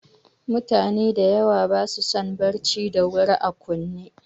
Mutane dayawa basu son barci da wuta a kunne